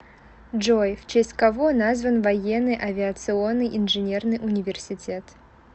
джой в честь кого назван военный авиационный инженерный университет